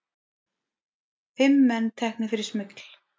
Fimm menn teknir fyrir smygl